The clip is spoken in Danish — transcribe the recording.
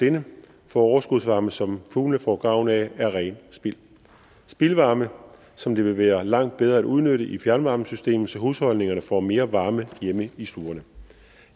sinde for overskudsvarme som fuglene får gavn af er rent spild spildvarme som det vil være langt bedre at udnytte i fjernvarmesystemet så husholdningerne får mere varme hjemme i stuerne